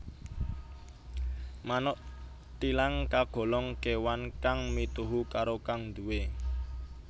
Manuk thilang kagolong kewan kang mituhu karo kang nduwé